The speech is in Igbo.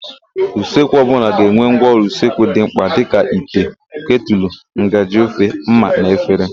Usekwu ọbụla ga-enwe ngwaọrụ usekwu dị mkpa dịka: ite, ketụlụ, ngaji ofe, ḿmà na efere.